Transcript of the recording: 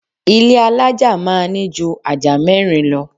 Ilé alaja máa ní jù ajá mẹ́rin lọ